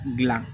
Dilan